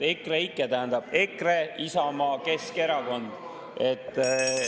EKREIKE tähendab EKRE, Isamaa, Keskerakond, et …